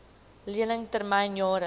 lening termyn jare